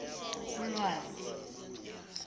ulwazi